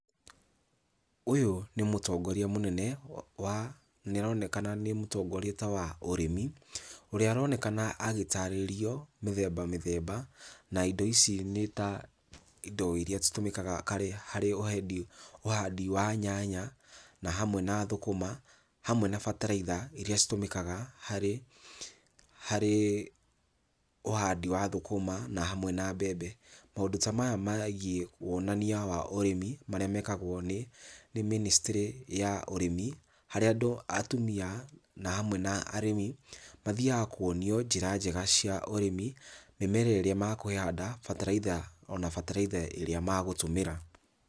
Ũyũ nĩ mũtongoria mũnene wa nĩaronekana nĩ mũtongoria ta wa ũrĩmi, ũrĩa aronekana agĩtarĩrio mĩthemba mĩthemba na indo ici nĩ ta indo iria citũmĩkaga karĩ harĩ ũhendi ũhandi wa nyanya, na hamwe na thũkũma, hamwe na bataraitha iria citũmĩkaga harĩ harĩ ũhandi wa thũkũma na hamwe na mbembe. Maũndũ ta maya megiĩ wonania wa ũrĩmi, marĩa mekagwo nĩ, nĩ mĩnĩstry ya ũrĩmi, harĩa andũ atumia na hamwe na arĩmi, mathiaga kuonio njĩra njega cia ũrĩmi, mĩmera ĩrĩa makũhanda, bataraitha ona bataraitha ĩrĩa magũtũmĩra.